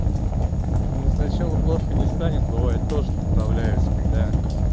ну сначала плохо не станет бывает тоже поправляюсь когда